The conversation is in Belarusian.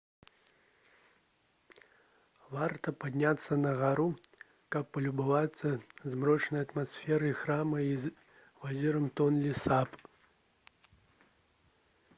варта падняцца на гару каб палюбавацца змрочнай атмасферай храма і возерам тонле сап